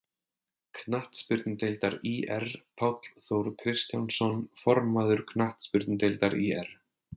Knattspyrnudeildar ÍR Páll Þór Kristjánsson, formaður Knattspyrnudeildar ÍR